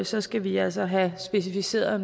så skal vi altså have specificeret